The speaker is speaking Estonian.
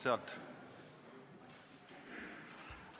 Vabandust!